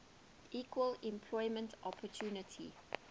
equal employment opportunity